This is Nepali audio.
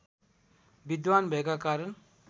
विद्वान् भएका कारण